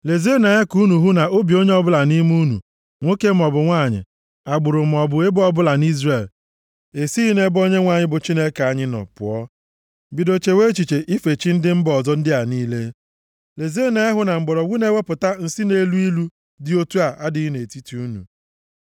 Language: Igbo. Lezienụ anya ka unu hụ na obi onye ọbụla nʼime unu, nwoke maọbụ nwanyị, agbụrụ maọbụ ebo ọbụla nʼIzrel, esighị nʼebe Onyenwe anyị bụ Chineke anyị nọ pụọ, bido chewe echiche ife chi ndị mba ọzọ ndị a niile. Lezienụ anya hụ na mgbọrọgwụ na-ewepụta nsi na-elu ilu dị otu a adịghị nʼetiti unu.